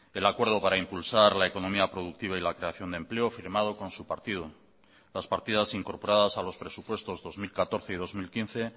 el acuerdo para impulsar la economía productiva y la creación de empleo firmado con su partido las partidas incorporadas a los presupuestos dos mil catorce y dos mil quince